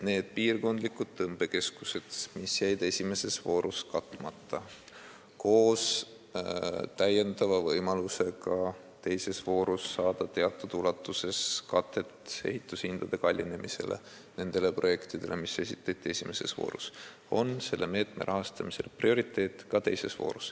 Need piirkondlikud tõmbekeskused, mis jäid esimeses voorus katmata, on teises voorus prioriteediks, nagu tõesti ka need esimeses voorus rahastuse saanud projektid, mis vajavad täiendavat rahakatet ehitushindade kallinemise tõttu.